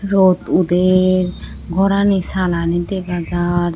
rot uder gorani salani dega jar.